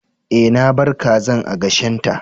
Eh, na bar kazan a gashin ta.